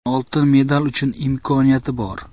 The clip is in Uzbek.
Oltin medal uchun imkoniyati bor.